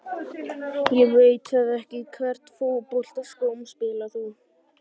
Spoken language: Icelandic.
Ég veit það ekki Í hvernig fótboltaskóm spilar þú?